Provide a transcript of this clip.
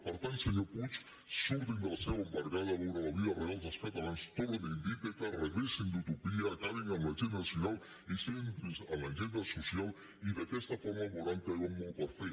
per tant senyor puig surtin de la seu embargada a veure la vida real dels catalans tornin d’ítaca regressin d’utopia acabin amb l’agenda nacional i centrin se en l’agenda social i d’aquesta forma veuran que hi ha molt per fer